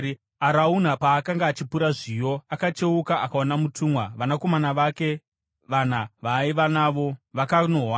Arauna paakanga achipura zviyo, akacheuka akaona mutumwa; vanakomana vake vana vaaiva navo vakanohwanda.